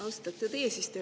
Austatud eesistuja!